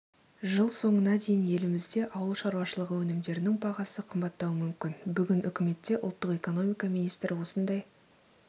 жыл соңына дейін елімізде ауыл шаруашылығы өнімдерінің бағасы қымбаттауы мүмкін бүгін үкіметте ұлттық экономика министрі осындай